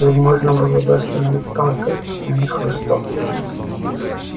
его можно было бы остановить палкой но не хлыстом